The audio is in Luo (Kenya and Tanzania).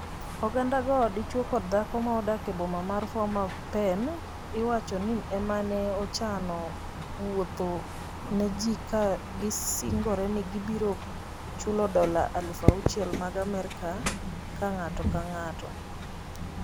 Oganda go, dichwo kod dhako ma odak e boma ma Phnom Penh, iwacho ni ema ne ochano wuothno ne ji ka gisingore ni gibiro chulo dola 6000 mag Amerka ka ng'ato ka ng'ato.